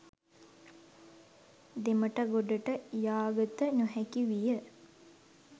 දෙමටගොඩට යාගත නොහැකි විය.